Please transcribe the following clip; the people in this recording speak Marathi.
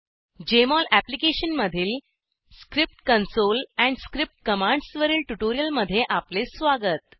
जेएमओल अप्लिकेशनमधील script console and script commands वरील ट्यूटोरियलमध्ये आपले स्वागत